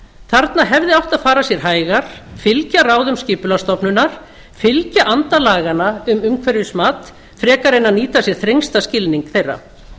þarna hefði átt að fara sér hægar fylgja ráðum skipulagsstofnunar fylgja anda laganna um umhverfismat frekar en að nýta sér þrengsta skilning þeirra